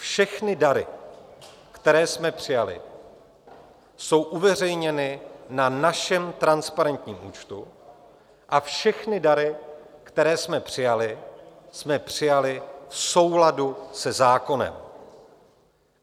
Všechny dary, které jsme přijali, jsou uveřejněny na našem transparentním účtu a všechny dary, které jsme přijali, jsme přijali v souladu se zákonem.